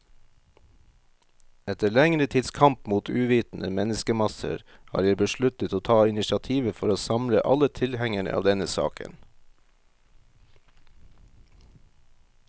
Etter lengre tids kamp mot uvitende menneskemasser, har jeg besluttet å ta initiativet for å samle alle tilhengere av denne saken.